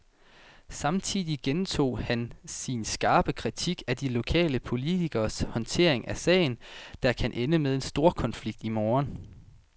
Samtidig gentog han sin skarpe kritik af de lokale politikeres håndtering af sagen, der kan ende med storkonflikt i morgen.